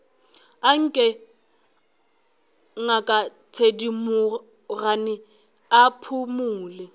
anke ngaka thedimogane a phumole